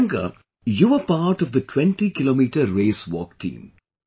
Priyanka, you were part of the 20 kilometer Race Walk Team